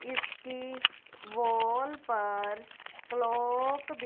इसकी वॉल पर क्लॉक भी--